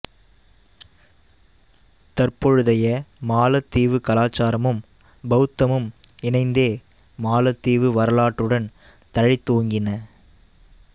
தற்பொழுதைய மாலத்தீவுக் கலாச்சாரமும் பௌத்தமும் இணைந்தே மாலத்தீவு வரலாற்றுடன் தழைத்தோங்கின